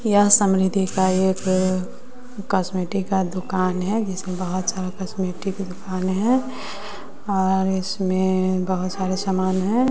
यह समृद्धि का एक कॉस्मेटिक का दुकान है जिसमें बहुत सारा कॉस्मेटिक की दुकान है और इसमें बहुत सारे सामान हैं।